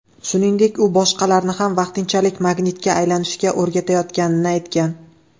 Shuningdek, u boshqalarni ham vaqtinchalik magnitga aylanishga o‘rgatayotganini aytgan.